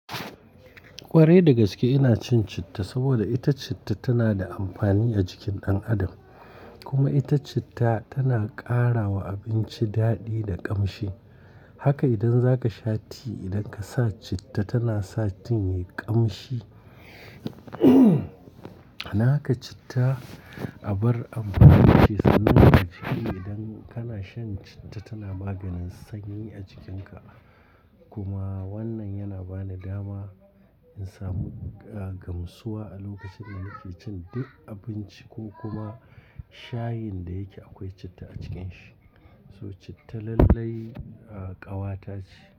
Kwarai, da gaske ina cin citta saboda ita citta tana da amfani a jikin ɗan adam kuma ita citta tana ƙara wa abinci daɗi da ƙamshi. Haka idan zaka sha tea, idan ka sa citta tana sa tean ya yi ƙamshi. Naka citta abar abu ce sanannen a jiki. Idan kana shan citta tana maganin sanyi a jikinka kuma wannan yana bani dama in samu, ah, gamsuwa a lokacin ina ke cin duk abinci ko kuma shayin da yake akwai citta a cikin shi. So citta lallai, ah, ƙawa ta ce.